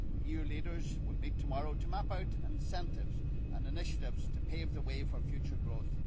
EU leaders will meet tomorrow to map out incentives and initiatives to pave the way for future growth.